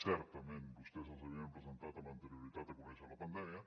certament vostès els havien presentat amb anterioritat de conèixer la pandèmia